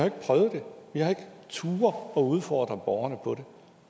ikke prøvet det vi har ikke turde at udfordre borgerne på det